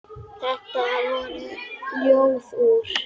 Þetta voru Ljóð úr